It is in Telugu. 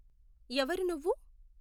ఎవరు నువ్వు ?